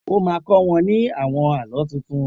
O má kọ́ wọ́n ní àwon Àlọ́ tuntun.